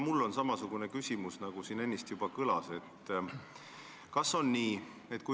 Mul on samasugune küsimus, nagu siin ennist juba kõlas.